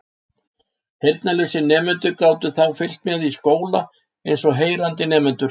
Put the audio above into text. Heyrnarlausir nemendur gátu þá fylgst með í skóla eins og heyrandi nemendur.